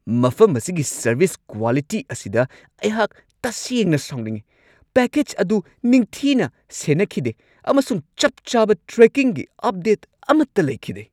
ꯃꯐꯝ ꯑꯁꯤꯒꯤ service quality ꯑꯁꯤꯗ ꯑꯩꯍꯥꯛ ꯇꯁꯦꯡꯅ ꯁꯥꯎꯅꯤꯡꯉꯤ ꯫ ꯄꯦꯀꯦꯖ ꯑꯗꯨ ꯅꯤꯡꯊꯤꯅ ꯁꯦꯟꯅꯈꯤꯗꯦ ꯑꯃꯁꯨꯡ ꯆꯞ ꯆꯥꯕ ꯇ꯭ꯔꯦꯀꯤꯡꯒꯤ ꯑꯞꯗꯦꯠ ꯑꯃꯠꯇ ꯂꯩꯈꯤꯗꯦ !